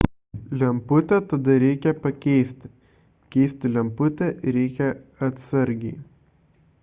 lemputę tada reikia pakeisti keisti lemputę reikia atsargiai